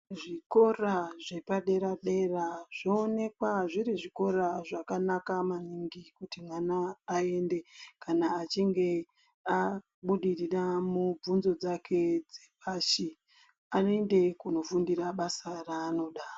Zvikora zvepadera dera, zvowonekwa zviri zvikora zvakanaka maningi kuti mwana ayende kana achinge abudirira mubvunzo dzake dzepashi. Ayende kunofundira basa rake ranoda.